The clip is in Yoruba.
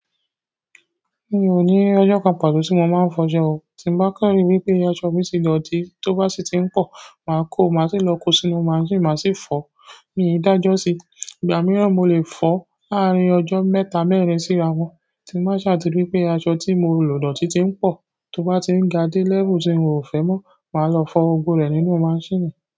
Mi ò ní ọjọ́ kan pàtó tí mo máa ń fọṣọ o. Tí mo bá kàn rí wípé aṣọ mi ti dọ̀tí, tó bá sì ti ń pẹọ, màá kó o, màá sì lọ kó sínú máṣíìnì màá sì fọ. Mii dájọ́ síi, ìgbà mìíràn mo lè fọ láàrín ọjọ́ mẹ́ta, mẹ́rin sí ara wọn. Tí mo bá ṣà ti ri wípé aṣọ tí mo lò dọ̀tí ti ń pọ̀, tó bá ti ń ga dé lẹ́fù tí n ò fẹ́ mọ́, màá lọ fọ gbogbo rẹ̀ nínú máṣíìnì.